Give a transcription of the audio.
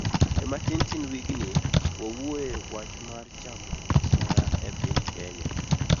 e matin tin wigni, wawuoye wachmar chamo asoya e piny kenya